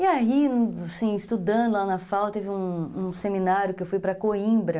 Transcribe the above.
E aí, estudando lá na FAO, teve um seminário que eu fui para Coimbra,